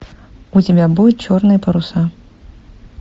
у тебя будет черные паруса